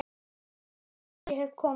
Núliðin tíð- ég hef komið